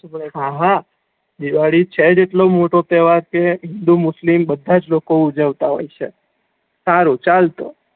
હા, હા દિવાળી છે જ એટલો મોટો તેહવાર કે હિંદુ મુસ્લિમ બધા જ લોકો ઉજવતા હોય છે સારુ ચાલતો